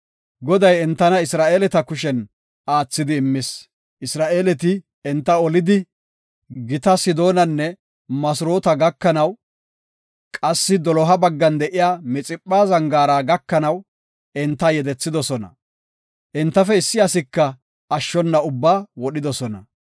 Goday entana Isra7eeleta kushen aathidi immis. Isra7eeleti enta olidi, gita Sidoonanne Masroota gakanaw, qassi doloha baggan de7iya Mixipha zangaara gakanaw entana yedethidosona. Entafe issi asika ashshona ubbaa wodhidosona.